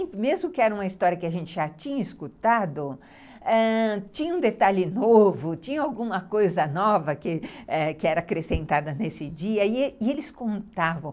Mesmo que era uma história que a gente já tinha escutado, ãh, tinha um detalhe novo, tinha alguma coisa nova que era acrescentada nesse dia e eles e eles contavam.